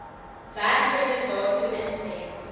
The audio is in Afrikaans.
werkgewer daartoe instem